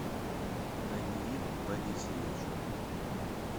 даниил борисович